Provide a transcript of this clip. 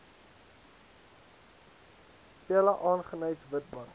pella aggeneys witbank